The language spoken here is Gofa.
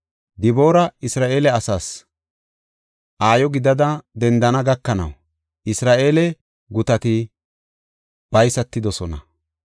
Diboori Isra7eele asaas, aayo gidada dendana gakanaw, Isra7eele gutati baysatidosona;